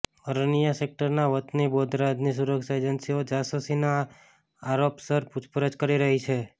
અરનિયા સેક્ટરના વતની બોધરાજની સુરક્ષા એજન્સીઓ જાસૂસીના આરોપસર પૂછપરછ કરી રહી છે